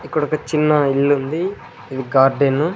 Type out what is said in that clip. ఇక్కడొక చిన్న ఇల్లుంది ఇది గార్డెను .